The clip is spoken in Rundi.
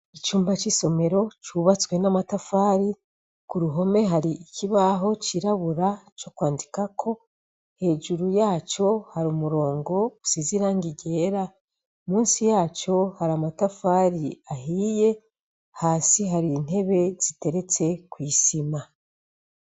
Icumba c'isomero cubatswe n'amatafari, ku ruhome hari ikibaho cirabura co kwandikako, hejuru yaco hari umurongo usize irangi ryera, musi yaco hari amatafari ahiye, hasi hari intebe ziteretse kw'isima.